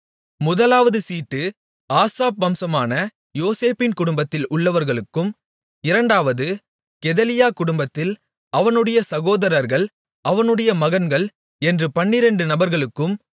முதலாவது சீட்டு ஆசாப் வம்சமான யோசேப்பின் குடும்பத்தில் உள்ளவர்களுக்கும் இரண்டாவது கெதலியா குடும்பத்தில் அவனுடைய சகோதரர்கள் அவனுடைய மகன்கள் என்றும் பன்னிரெண்டு நபர்களுக்கும்